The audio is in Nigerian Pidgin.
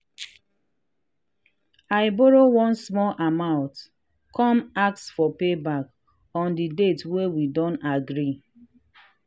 i borrow one small amount come ask for payback on the date wey we don agree.